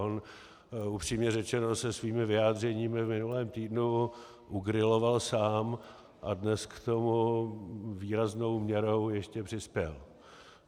On, upřímně řečeno, se svými vyjádřeními v minulém týdnu ugriloval sám a dnes k tomu výraznou měrou ještě přispěl.